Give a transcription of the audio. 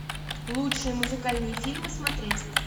лучшие музыкальные фильмы смотреть